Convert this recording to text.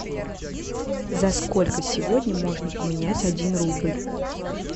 за сколько сегодня можно поменять один рубль